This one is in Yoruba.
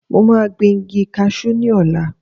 Mo máa gbìn igi kasú ní ọ̀la